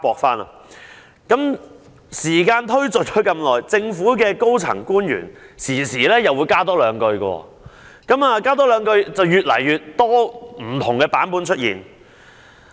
隨着時間的過去，政府高層官員不時會在回應時多說一兩句，以至出現越來越多不同的版本。